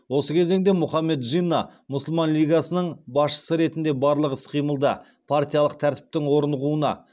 осы кезеңде мұхаммед джинна мұсылман лигасының басшысы ретінде барлық іс қимылды партиялық тәртіптің орнығуына